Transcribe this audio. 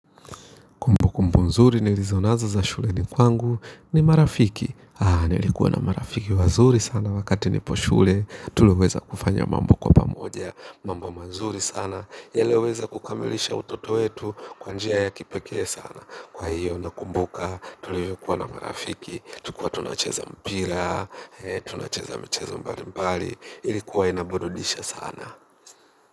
Mbu nzuri nilizo nazo za shuleni kwangu ni marafiki. Haa, nilikuwa na marafiki wazuri sana wakati nipo shule. Tuliweza kufanya mambo kwa pamoja. Mambo mazuri sana. Yaliyoweza kukamilisha utoto wetu kwa njia ya kipekee sana. Kwa hiyo nakumbuka, tuliwai kuwa na marafiki. Tukua tunacheza mpira, tunacheza michezo mbalimbali. Ilikuwa inaburudisha sana.